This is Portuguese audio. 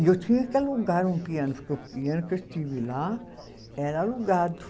E eu tinha que alugar um piano, porque o piano que eu tive lá era alugado.